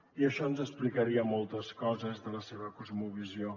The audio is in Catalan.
i això ens explicaria moltes coses de la seva cosmovisió